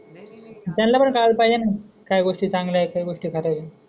त्यांना पण कळायले पाहिजे न काही गोष्टी चांगल्या आय काही गोष्टी खात्याबर